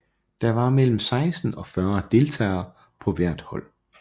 Der var mellem 16 og 40 deltagere på hvert hold